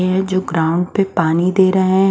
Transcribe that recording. ये जो ग्राम पे पानी दे रहे हैं।